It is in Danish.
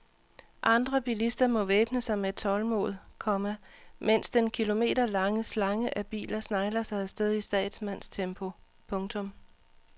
Andre bilister må væbne sig med tålmod, komma mens den kilometerlange slange af biler snegler sig afsted i statsmandstempo. punktum